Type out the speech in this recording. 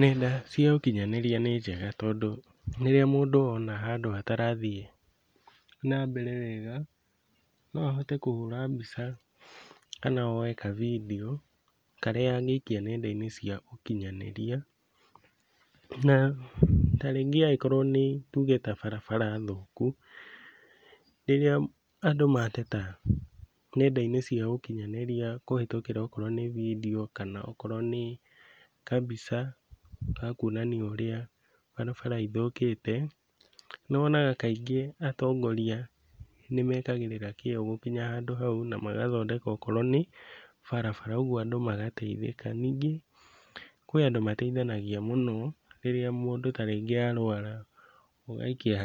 Nenda cia ũkinyanĩria nĩ njega tondũ rĩrĩa mũndũ ona handũ hatarathiĩ na mbere wega no ahote kũhũra mbica kana woe ka video karĩa angĩikia nenda-inĩ cia ũkinyanĩria, na ta rĩngĩ angĩkorwo nĩ tuge ta barabara thũku, rĩrĩa andũ mateta nenda-inĩ cia ũkinyanĩria kũhĩtũkĩra okorwo nĩ video kana okorwo nĩ kambica ga kuonania ũrĩa barabara ithũkĩte, nĩwonaga kaingĩ atongoria nĩmekagĩrĩra kĩo gũkinya handũ hau na magathondeka okorwo nĩ barabara, ũguo andũ magateithĩka. Ningĩ kwĩ andũ mateithanagia mũno rĩrĩa mũndũ ta rĩngĩ arwara, ũgaikia